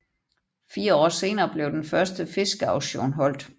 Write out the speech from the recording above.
Fire år senere blev den første fiskeauktion holdt